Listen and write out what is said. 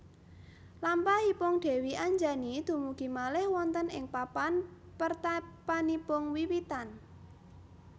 Lampahipun Dèwi Anjani dumugi malih wonten ing papan pertapanipun wiwitan